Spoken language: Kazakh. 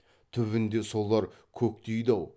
түбінде солар көктейді ау